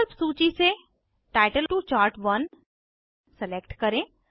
विकल्प सूची से टाइटल टो चार्ट1 सलेक्ट करें